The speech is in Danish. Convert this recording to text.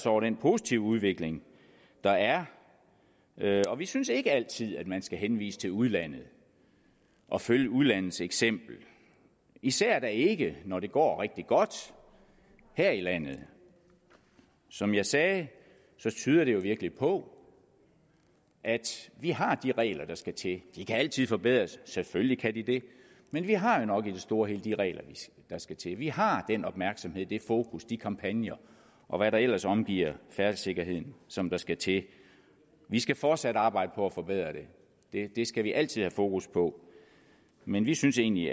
over den positive udvikling der er og vi synes ikke altid at man skal henvise til udlandet og følge udlandets eksempler især da ikke når det går rigtig godt her i landet som jeg sagde tyder det jo virkelig på at vi har de regler der skal til de kan altid forbedres selvfølgelig kan de det men vi har jo nok i det store og hele de regler der skal til vi har den opmærksomhed det fokus de kampagner og hvad der ellers omgiver færdselssikkerheden som der skal til vi skal fortsat arbejde på at forbedre det det skal vi altid have fokus på men vi synes egentlig